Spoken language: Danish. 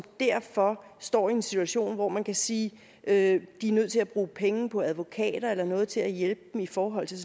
derfor står i en situation hvor man kan sige at de er nødt til at bruge penge på advokater eller andet til at hjælpe dem i forhold til